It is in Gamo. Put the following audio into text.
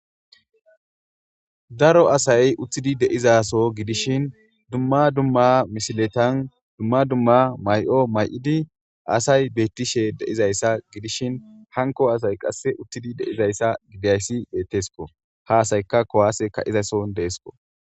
daro asay uttidi de'izaso gidishin dumma dumma misiletan dumma dumma mayi'o may'idi asay beettishe de'izayssa gidishin hanko asay qasse uttidi de'izayssa gidiayssi beettesko ha asayka kuwaase ka'izason deesko